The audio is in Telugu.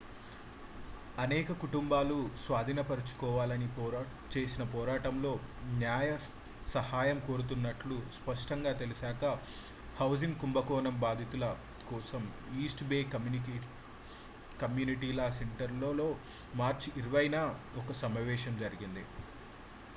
అనేక కుటుంబాలు స్వాధీనపరచుకోవాలని చేసిన పోరాటంలో న్యాయ సహాయం కోరుతున్నట్లు స్పష్టంగా తెలిసాకా హౌసింగ్ కుంభకోణం బాధితుల కోసం East Bay community law center లో మార్చి 20న ఒక సమావేశం జరిగింది